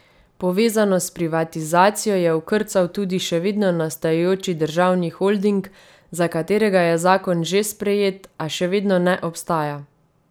Povezano s privatizacijo je okrcal tudi še vedno nastajajoči državni holding, za katerega je zakon že sprejet, a še vedno ne obstaja.